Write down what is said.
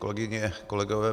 Kolegyně, kolegové.